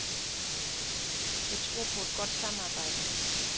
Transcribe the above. Jeg tror på et godt samarbejde.